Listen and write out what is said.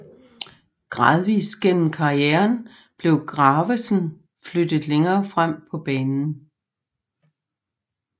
Gradvist gennem karrieren blev Gravesen flyttet længere frem på banen